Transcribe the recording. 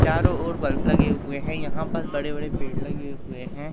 चारों ओर बल्ब लगे हुए हैं यहां पर बड़े बड़े पेड़ लगे हुए हैं।